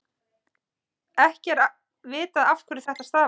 ekki er vitað afhverju þetta stafar